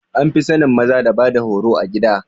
An fi sanin maza da bada horo a gida